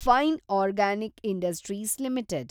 fine organic industries limited